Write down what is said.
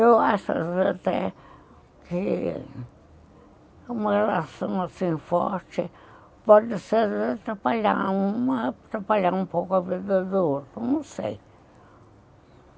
Eu acho às vezes até que uma relação assim forte pode ser atrapalhar uma, atrapalhar um pouco a vida do outro, não sei.